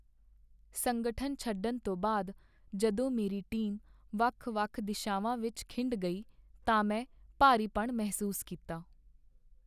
ਸੰਗਠਨ ਛੱਡਣ ਤੋਂ ਬਾਅਦ ਜਦੋਂ ਮੇਰੀ ਟੀਮ ਵੱਖ ਵੱਖ ਦਿਸ਼ਾਵਾਂ ਵਿੱਚ ਖਿੰਡ ਗਈ ਤਾਂ ਮੈਂ ਭਾਰੀਪਣ ਮਹਿਸੂਸ ਕੀਤਾ